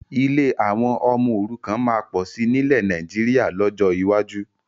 Ilé àwọn ọmọ òrukàn máa pọ̀ sí nilẹ Nàìjíríà lọ́jọ́ iwájú